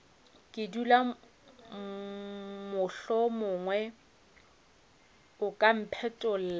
dula mohlomongwe o ka mphetlolla